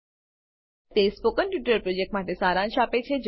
તે spoken tutorial પ્રોજેક્ટનો સારાંશ આપે છે